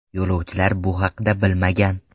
Yo‘lovchilar bu haqda bilmagan.